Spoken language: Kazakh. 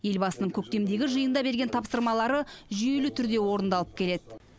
елбасының көктемдегі жиында берген тапсырмалары жүйелі түрде орындалып келеді